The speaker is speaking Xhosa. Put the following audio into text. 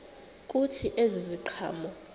kuthi ezi ziqhamo